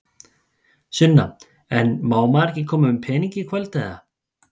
Sunna: En maður má ekki koma með peninga í kvöld, eða?